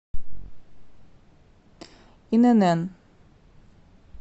инн